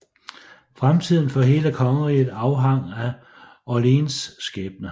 Fremtiden for hele kongeriget afhang af Orléans skæbne